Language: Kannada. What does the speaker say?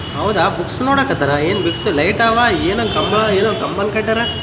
ಇಲ್ಲಿ ಒಂದು ಪುಸ್ತಕದು ಇಲ್ಲಿ ಅಂಗಡಿ ಕಾಣಸ್ತಾ ಇದೆ ಅಂಗಡಿಯಲ್ಲಿ ತುಂಬಾ ಪುಸ್ತಕಗಳನ್ನು ಇಟ್ಟಿದ್ದಾರೆ .